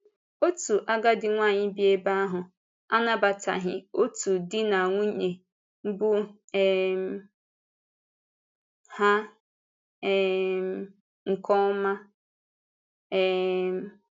Òtù àgádì nwanyị bí ebe ahụ anabatàghị òtù di na nwunye bụ́ um ha um nke ọma. um